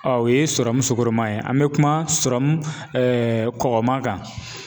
o ye sugɔroman ye an bɛ kuma kɔkɔman kan